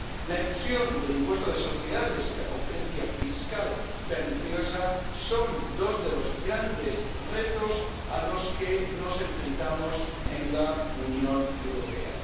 La elusión del impuesto de sociedades y la competencia fiscal perniciosa son dos de los grandes retos a los que nos enfrentamos en la Unión Europea.